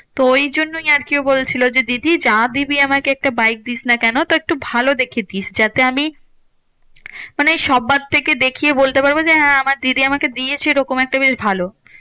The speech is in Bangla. তো এই জন্যেই আরকি বলছিলো যে দিদি যা দিবি আমাকে একটা বাইক দিস না কেন একটু ভালো দেখে দিস। যাতে আমি মানে সব্বার থেকে দেখিয়ে বলতে পারবো যে হ্যাঁ আমার দিদি আমাকে এরকম একটা বেশ ভালো।